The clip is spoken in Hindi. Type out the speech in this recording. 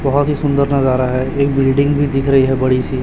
बहुत ही सुंदर नजारा है एक बिल्डिंग भी दिख रही है बड़ी सी।